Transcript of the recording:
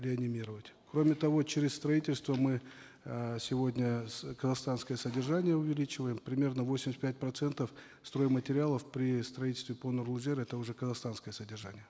реанимировать кроме того через строительство мы э сегодня казахстанское содержание учеличиваем примерно восемьдесят пять процентов стройматериалов при строительстве по нұрлы жер это уже казахстанское содержание